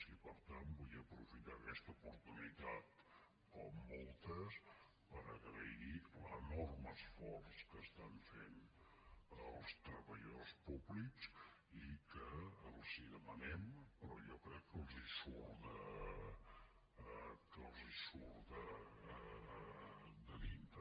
i per tant vull aprofitar aquesta oportunitat com moltes per agrair l’enorme esforç que estan fent els treballadors públics i que els demanem però jo crec que els surt de dintre